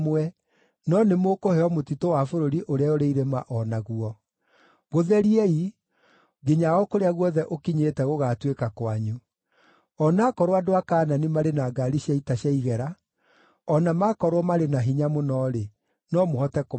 no nĩmũkũheo mũtitũ wa bũrũri ũrĩa ũrĩ irĩma o naguo. Gũtheriei, nginya o kũrĩa guothe ũkinyĩte gũgaatuĩka kwanyu; o na akorwo andũ a Kaanani marĩ na ngaari cia ita cia igera, o na makorwo marĩ na hinya mũno-rĩ, no mũhote kũmaingata.”